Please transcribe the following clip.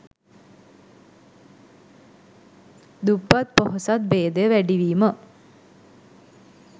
දුප්පත් පොහොසත් භේදය වැඩිවීම